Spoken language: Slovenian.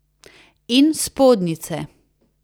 In spodnjice.